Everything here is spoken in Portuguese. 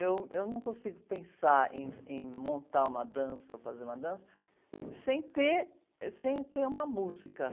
Eu, eu não consigo pensar em, em montar uma dança ou fazer uma dança sem ter, ãh, sem ter uma música.